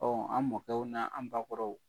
an mɔkɛw n'an bakɔrɔw